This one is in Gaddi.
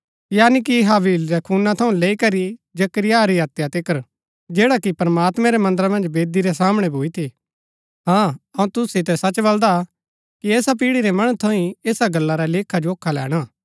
यानी की हाबील रै खूना थऊँ लैई करी जकरिया री हत्या तिकर जैडा कि प्रमात्मैं रै मन्दरा मन्ज वेदी रै सामणै भूई थी हाँ अऊँ तुसू सितै सच बल्‍दा कि ऐसा पीढ़ी रै मणु थऊँ ही ऐसा गल्ला रा लेखा जोखा लैणा